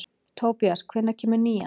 Tobías, hvenær kemur nían?